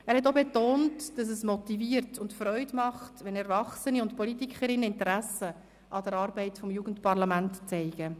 » Er hat auch betont, dass es motiviert und Freude macht, wenn Erwachsene, insbesondere Politiker und Politikerinnen, Interesse an der Arbeit des Jugendparlaments zeigten.